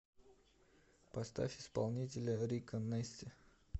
поставь исполнителя рико нэсти